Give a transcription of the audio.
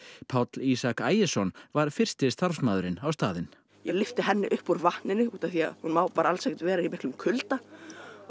Páll Ísak Ægisson var fyrsti starfsmaðurinn á staðinn ég lyfti henni upp úr vatninu því hún má alls ekki vera í miklum kulda og